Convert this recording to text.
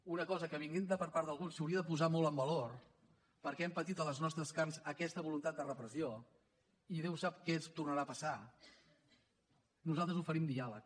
una cosa que venint de part d’alguns s’hauria de posar molt en valor perquè hem patit a les nostres carns aquesta voluntat de repressió i déu sap què ens tornarà a passar nosaltres oferim diàleg